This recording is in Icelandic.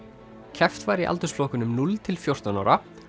keppt var í aldursflokkum núll til fjórtán ára